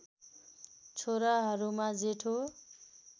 छोराहरूमा जेठो